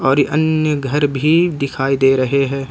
और अन्य घर भी दिखाई दे रहे हैं।